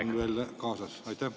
… on seal veel kaasas?